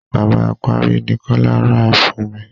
Bàbá apárí ni Kọ́lá rà fún mi.